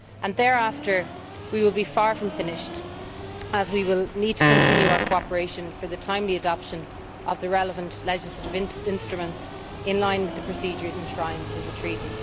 Thereafter, we will be far from finished as we will need to continue our cooperation for the timely adoption of the relevant legislative instruments, in line with the procedures enshrined in the Treaty.